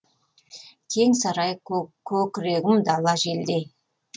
кең сарай көкірегім дала желдей